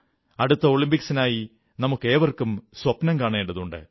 അടുത്ത ഒളിമ്പിക്സിനായി നമുക്കേവർക്കും സ്വപ്നം കാണേണ്ടതുണ്ട്